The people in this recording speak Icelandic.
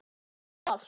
Heyri allt.